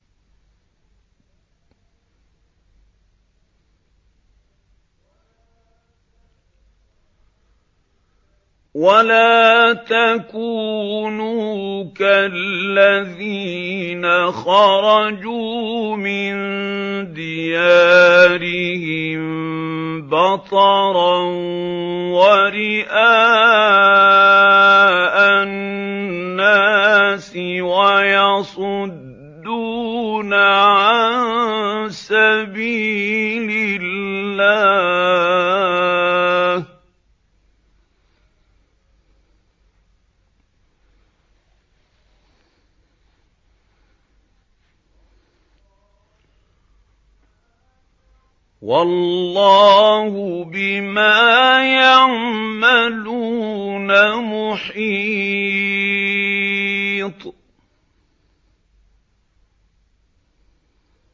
وَلَا تَكُونُوا كَالَّذِينَ خَرَجُوا مِن دِيَارِهِم بَطَرًا وَرِئَاءَ النَّاسِ وَيَصُدُّونَ عَن سَبِيلِ اللَّهِ ۚ وَاللَّهُ بِمَا يَعْمَلُونَ مُحِيطٌ